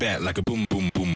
í